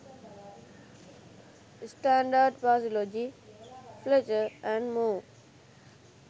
standard phraseology fletcher & moor